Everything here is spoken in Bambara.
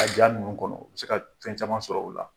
A ja nunun kɔnɔ , u bi se ka fɛn caman sɔrɔ o la.